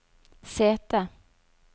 sete